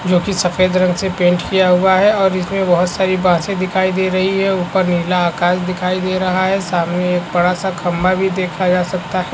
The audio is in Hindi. जो के सफेद रंग से पेंट किया हुआ है और इसमें बहोत सारी बांसे दिखाई दे रही है और नीला आकाश दिखाई दे रहा है और सामने सामने एक बड़ा-सा खंबा भी देखा जा सकता है ।